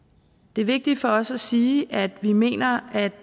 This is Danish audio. det er vigtigt for os at sige at vi mener at